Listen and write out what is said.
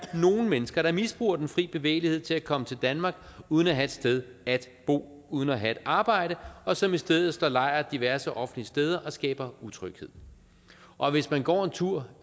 nogle mennesker der misbruger den fri bevægelighed til at komme til danmark uden at have et sted at bo og uden at have et arbejde og som i stedet for slår lejr diverse offentlige steder og skaber utryghed og hvis man går en tur